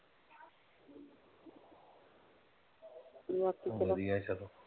ਬਾਕੀ ਚਲੋ ਵਧੀਆ ਹੀ ਆ ਚਲੋ।